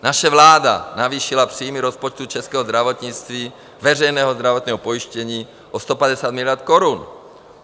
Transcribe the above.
Naše vláda navýšila příjmy rozpočtu českého zdravotnictví, veřejného zdravotního pojištění, o 150 miliard korun.